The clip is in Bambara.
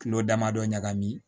Kilo damadɔ ɲagami